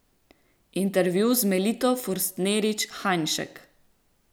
Intervju z Melito Forstnerič Hajnšek.